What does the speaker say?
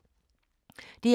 DR K